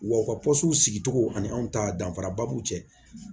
Wa u ka sigicogo ani anw ta danfara ba b'u cɛ